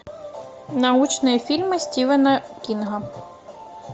научные фильмы стивена кинга